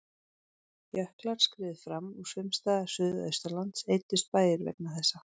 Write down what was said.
Jöklar skriðu fram og sums staðar suðaustanlands eyddust bæir vegna þessa.